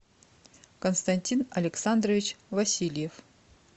константин александрович васильев